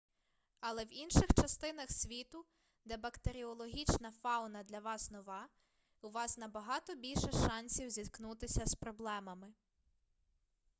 але в інших частинах світу де бактеріологічна фауна для вас нова у вас набагато більше шансів зіткнутися з проблемами